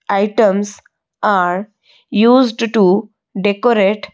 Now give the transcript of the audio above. items are used to decorate.